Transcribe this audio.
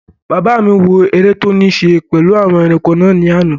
Bàbá mi wò eré tó ní ṣe pẹ̀lú àwọn ẹranko náà ní àná